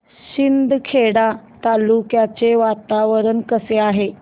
शिंदखेडा तालुक्याचे वातावरण कसे आहे